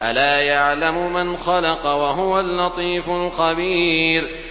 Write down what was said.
أَلَا يَعْلَمُ مَنْ خَلَقَ وَهُوَ اللَّطِيفُ الْخَبِيرُ